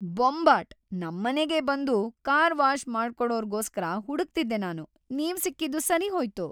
ಬೊಂಬಾಟ್! ನಮ್ಮನೆಗೇ ಬಂದು car wash ಮಾಡ್ಕೊಡೋರ್ಗೋಸ್ಕರ ಹುಡುಕ್ತಿದ್ದೆ ನಾನು, ನೀವ್‌ ಸಿಕ್ಕಿದ್ದು ಸರಿಹೋಯ್ತು!